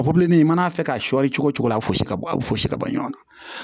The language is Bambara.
Pobileman i mana fɛ k'a sɔri cogo o cogo a bɛ fosi ka bɔ a bɛ fosi ka bɔ ɲɔgɔn na